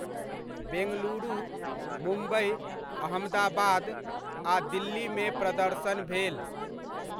बेंगलुरु, मुम्बइ, अहमदाबाद आ दिल्लीमे प्रदर्शन भेल।